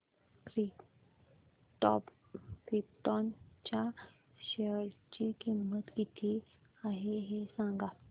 krypton च्या share ची किंमत किती आहे हे सांगा